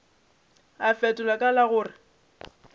a fetola ka la gore